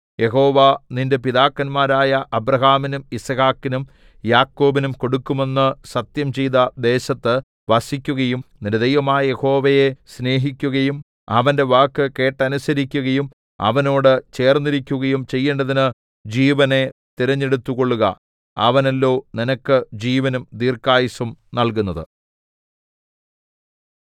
യഹോവ നിന്റെ പിതാക്കന്മാരായ അബ്രാഹാമിനും യിസ്ഹാക്കിനും യാക്കോബിനും കൊടുക്കുമെന്നു സത്യംചെയ്ത ദേശത്ത് വസിക്കുകയും നിന്റെ ദൈവമായ യഹോവയെ സ്നേഹിക്കുകയും അവന്റെ വാക്കു കേട്ടനുസരിക്കുകയും അവനോട് ചേർന്നിരിക്കുകയും ചെയ്യേണ്ടതിന് ജീവനെ തിരഞ്ഞെടുത്തുകൊള്ളുക അവനല്ലോ നിനക്ക് ജീവനും ദീർഘായുസ്സും നൽകുന്നത്